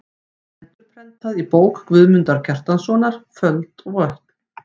Endurprentað í bók Guðmundar Kjartanssonar: Fold og vötn.